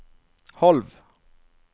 halv